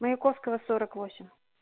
маяковского сорок восемь